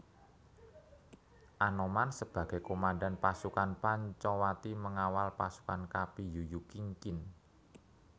Anoman sebagai Komando Pasukan Pancawati mengawal pasukan Kapi Yuyu Kingkin